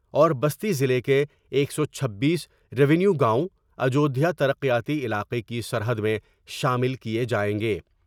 اور بستی ضلع کے ایک سو چھبیس ریو نیو گاؤں اجودھیا تر قیاتی علاقے کی سرحد میں شامل کئے جائیں گے ۔